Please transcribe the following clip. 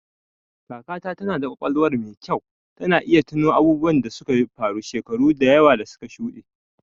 Kakata tana da ƙwaƙwalwar mai kyau, tana iya tuno abubuwan da suka faru shekaru da yawa da suka shuɗe.